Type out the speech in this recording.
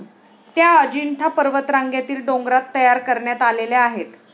त्या अजिंठा पर्वतरांगेतील डोंगरात तयार करण्यात आलेल्या आहेत.